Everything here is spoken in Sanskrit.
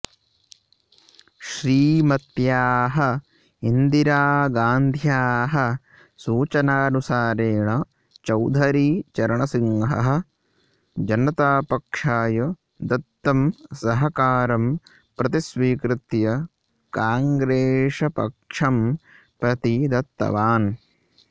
श्रीमत्याः इन्दिरागान्ध्याः सूचनानुसारेण चौधरी चरणसिंहः जनतापक्षाय दत्तं सहकारं प्रतिस्वीकृत्य काङ्ग्रेस्पक्षं प्रति दत्तवान्